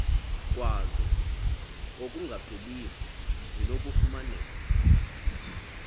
kwazo okungapheliyo zinokufumaneka